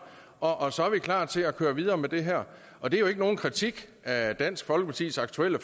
og så er vi klar til at køre videre med det her og det er jo ikke nogen kritik af dansk folkepartis aktuelle